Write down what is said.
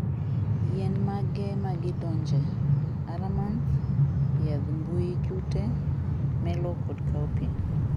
yien mage magidonje? Aramanth, yadh mbuyijute melow kod cowpea